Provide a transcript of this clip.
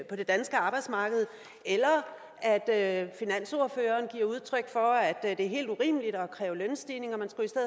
på det danske arbejdsmarked eller at at finansordføreren giver udtryk for at det er helt urimeligt at kræve lønstigninger